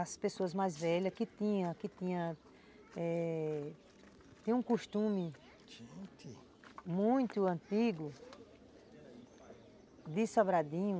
As pessoas mais velhas que tinham, que tinham, eh, tinham um costume muito antigo de Sobradinho.